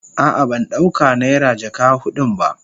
A'a ban dauka naira jaka hudun ba.